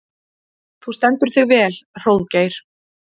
Þú stendur þig vel, Hróðgeir!